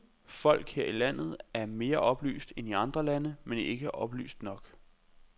Folk her i landet er mere oplyst end i andre lande, men ikke oplyst nok.